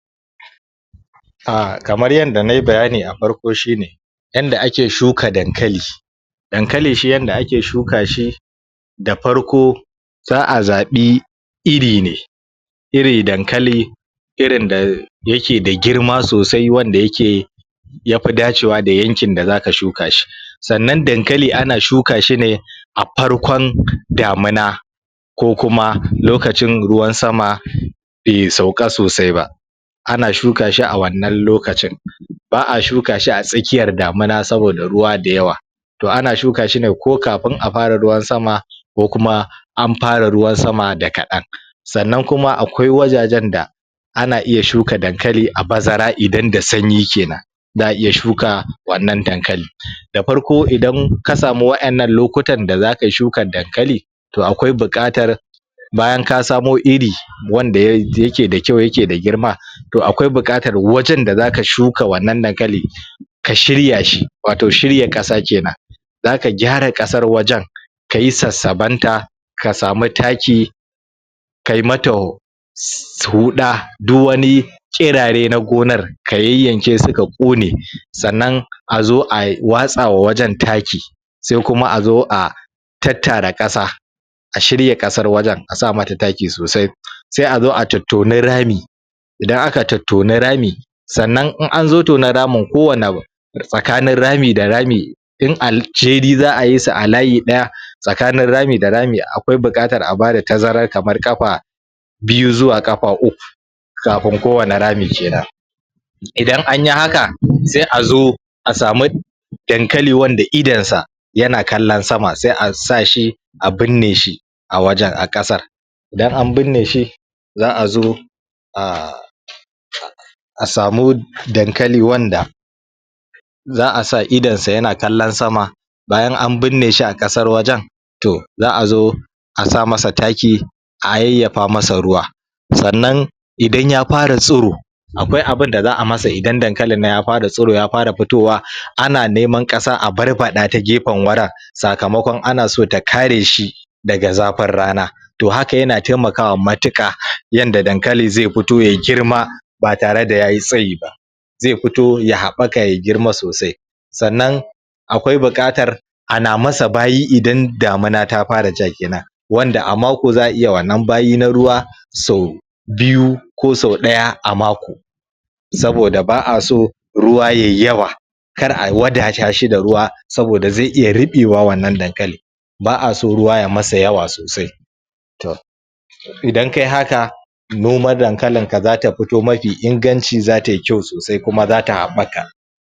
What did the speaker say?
A kamar yadda nai bayani a farko shi ne yadda ake shuka Dankali Dankali shi yadda ake shuka shi da farko za a zaɓi iri ne irin Dankali irin da yake da girma sosai wanda yake ya fi dacewa da yankin da zaka shuka shi sannan Dankali ana shuka shi ne a farkon damina ko kuma lokacin ruwan sama bai sauka sosai ba ana shuka shi a wannan lokacin ba a shuka shi a tsakiyar damina saboda ruwa da yawa to ana shuka shi ne ko kafin a fara ruwan sama ko kuma an fara ruwan sama da kaɗan sannan kuma akwai wajajen da ana iya shuka Dankali a bazara idan da sanyi kenan za a iya shuka wannan Dankali da farko idan ka samu wa'yannan lokutan da za kai shukar Dankali to akwai buƙatar bayan ka samu iri wanda yake da kyau yake da girma to kwai buƙatar wajen da za ka shuka wannan Dankali ka shirya shi wato shirya ƙasa kenan zaka gyara ƙasar wajen ka yi sassabenta ka samu taki kai mata sauda duk wani ƙirare na gonar ka yayyanke su ka ƙone sannan a zo a watsawa wajen taki sai kuma a zo a tattara ƙasa a shirya ƙasar wajen a sa mata taki sosai sai a zo a tottoni rami idan aka tottoni rami sannan in an zo tonan ramin kowanne tsakanin rami da rami in alceri za a yi sa a layi ɗaya tsakanin rami da rami akwai buƙatar a bada tazara kamar ƙafa biyu zuwa ƙafa uku kafin kowanne rami kenan idan anyi haka sai a zo a samu Dankali wanda idonsa yana kallo sama sai a sa shi a binne shi a wajen a ƙasa idan an bunne shi za a zo a? a samu Dankali wanda za a sa idonsa yana kallon sama bayan an bunne shi a ƙasar wajen to za a zo a sa masa taki a yayyafa masa ruwa sannan idan ya fara tsiro akwai abinda za a masa idan Dankalin nan ya fara tsiro ya fara fitowa ana neman ƙasa a barbaɗa a gefen wurin sakamakon ana so ta kare shi daga zafin rana to haka yana taimakawa matuƙa yanda Dankali zai fito yai girma ba tare da yayi tsayi ba zai fito ya haɓaka ya girma sosai sannan akwai buƙatar ana masa bayi idan damina ta fara ja kenan wanda a mako za a iya wannan bayi na ruwa sau biyu ko sau ɗaya a mako saboda ba a so ruwa yai yawa kar a wadatashi da ruwa saboda zai iya ruɓewa wannan Dankali ba a so ruwa yai masa yawa sosai? idan kai haka noman Dankalinka zata fito mafi inganci za tai kyau sosai kuma zata haɓaka